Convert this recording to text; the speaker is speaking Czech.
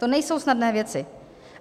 To nejsou snadné věci.